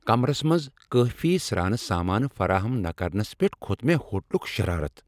کمرس منٛز کٲفی سرانہٕ سامان فراہم نہٕ کرنس پیٹھ کھوت مےٚ ہوٹلُك شرارت۔